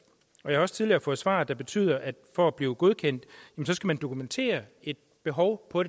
og jeg har også tidligere fået svar der fortæller at for at blive godkendt skal man dokumentere et behov for